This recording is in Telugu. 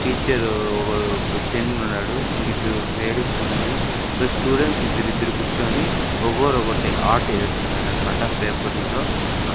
టీచరు ఒకరు ఇంకిద్దరు లేడీసున్నారు ఇక స్టూడెంట్స్ ఇద్దరిద్దరు కూర్చొని ఒకోరు ఒక్కొక్కటి ఆర్ట్ ఏస్తున్నారన్మాట పేపర్లతో .